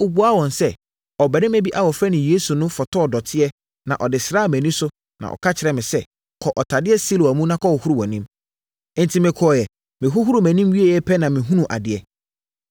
Ɔbuaa wɔn sɛ, “Ɔbarima bi a wɔfrɛ no Yesu no fotɔɔ dɔteɛ na ɔde sraa mʼani so na ɔka kyerɛɛ me sɛ, ‘Kɔ ɔtadeɛ Siloa mu na kɔhohoro wʼanim’. Enti, mekɔeɛ. Mehohoroo mʼanim wieeɛ pɛ na mehunuu adeɛ.”